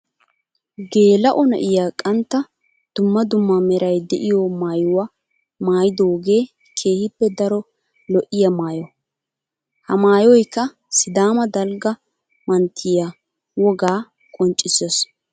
Geela'o na'iya qantta dumma dumma meray de'iyo maayuwa maayidooge keehippe daro lo'iyaa maayo. Ha maayoykka sidama dalgga manttiya wogaa qonccisees.